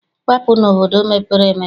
Kwapụ n'obodo mepere emepe!